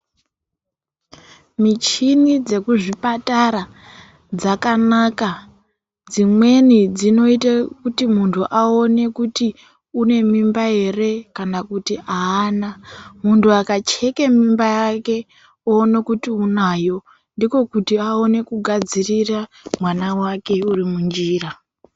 Michini dzekuzvipatara dzakanaka dzimweni dzinoita kuti muntu awone kuti une mimba ere kana kuti haana. Muntu akachekeke mimba yake oone kuti unayo ndiko kuti awone kugadzirira mwana wake uri munjira.